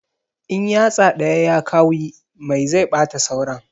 In yatsa ɗaya ya kawi mai zai ɓata sauran